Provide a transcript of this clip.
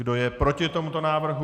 Kdo je proti tomuto návrhu?